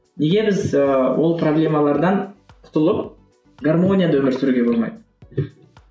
неге біз ыыы ол проблемалардан құтылып гармонияда өмір сүруге болмайды